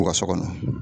U ka so kɔnɔ